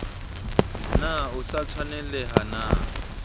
na o sa tshwanelaha na